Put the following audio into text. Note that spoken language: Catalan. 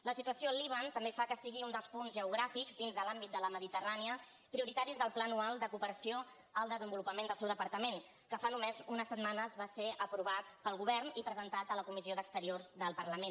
la situació al líban també fa que sigui un dels punts geogràfics dins de l’àmbit de la mediterrània prioritaris del pla anual de cooperació al desenvolupament del seu departament que fa només unes setmanes va ser aprovat pel govern i presentat a la comissió d’exteriors del parlament